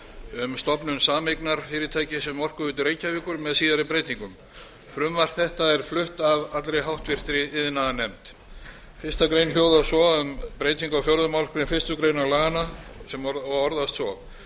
um stofnun sameignarfyrirtækis um orkuveitu reykjavíkur með síðari breytingum frumvarp þetta er flutt af allri háttvirtur iðnaðarnefnd fyrstu grein hljóðar svo um breytingu á fjórðu málsgrein fyrstu grein laganna og orðast svo